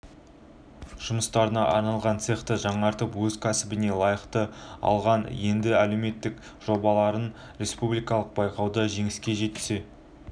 жұмыстарына арналған цехты жаңғыртып өз кәсібіне лайықтап алған енді әлеуметтік жобалардың республикалық байқауында жеңіске жетсе